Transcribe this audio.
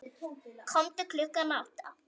Komdu klukkan átta.